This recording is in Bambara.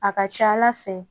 A ka ca ala fɛ